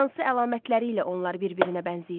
Hansı əlamətləri ilə onlar bir-birinə bənzəyir?